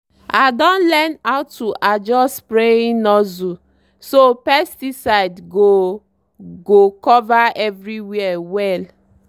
i don learn how to adjust spraying nozzle so pesticide go go cover everywhere well.